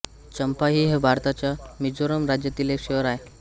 चंफाइ हे भारताच्या मिझोरम राज्यातील एक शहर आहे